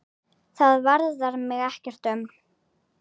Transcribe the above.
Það varðar mig ekkert um.